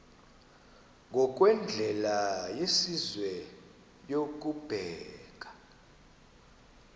ngokwendlela yesizwe yokubeka